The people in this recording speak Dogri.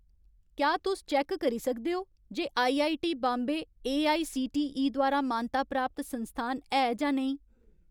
क्या तुस चैक्क करी सकदे ओ जे आईआईटी बाम्बे एआईसीटीई द्वारा मानता प्राप्त संस्थान है जां नेईं ?